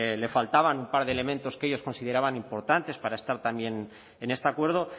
le faltaba un par de elementos que ellos consideraban importantes para estar también en este acuerdo